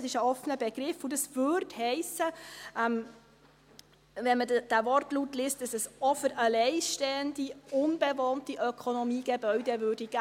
Das ist ein offener Begriff, und wenn man diesen Wortlaut liest, würde das heissen, dass es auch für allein stehende, unbewohnte Ökonomiegebäude gelten würde.